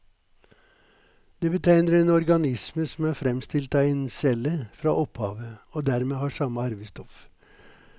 Det betegner en organisme som er fremstilt av en celle fra opphavet, og dermed har samme arvestoff.